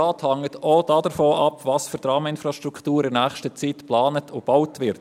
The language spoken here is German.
Rates hängt auch davon ab, welche Traminfrastrukturen in nächster Zeit geplant und gebaut werden.